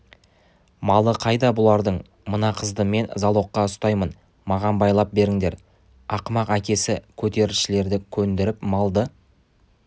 малы қайда бұлардың мына қызды мен залогқа ұстаймын маған байлап беріңдер ақымақ әкесі көтерілісшілерді көндіріп малды